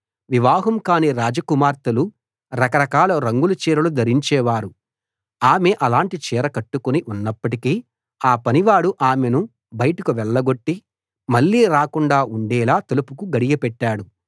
వివాహం కాని రాజకుమార్తెలు రకరకాల రంగుల చీరలు ధరించేవారు ఆమె అలాంటి చీర కట్టుకుని ఉన్నప్పటికీ ఆ పనివాడు ఆమెను బయటికి వెళ్లగొట్టి మళ్ళీ రాకుండా ఉండేలా తలుపుకు గడియ పెట్టాడు